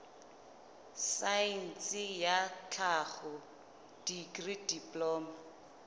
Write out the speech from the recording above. saense ya tlhaho dikri diploma